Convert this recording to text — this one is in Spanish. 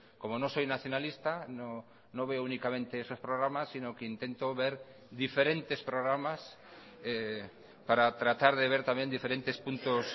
como no soy nacionalista no veo únicamente esos programas sino que intento ver diferentes programas para tratar de ver también diferentes puntos